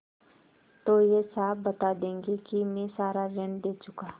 तो वे साफ बता देंगे कि मैं सारा ऋण दे चुका